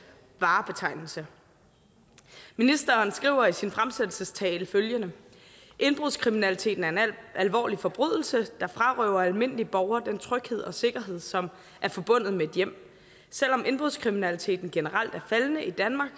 varebetegnelse ministeren skriver i sin fremsættelsestale følgende indbrudskriminaliteten er en alvorlig forbrydelse der frarøver almindelige borgere den tryghed og sikkerhed som er forbundet med et hjem selvom indbrudskriminaliteten generelt er faldende i danmark